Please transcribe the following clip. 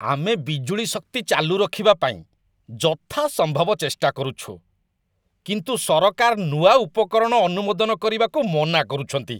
ଆମେ ବିଜୁଳି ଶକ୍ତି ଚାଲୁ ରଖିବା ପାଇଁ ଯଥାସମ୍ଭବ ଚେଷ୍ଟା କରୁଛୁ, କିନ୍ତୁ ସରକାର ନୂଆ ଉପକରଣ ଅନୁମୋଦନ କରିବାକୁ ମନା କରୁଛନ୍ତି।